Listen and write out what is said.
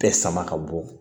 Bɛɛ sama ka bɔ